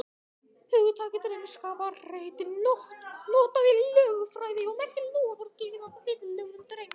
Hugtakið drengskaparheit er notað í lögfræði og merkir loforð gefið að viðlögðum drengskap.